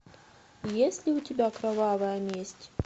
есть ли у тебя кровавая месть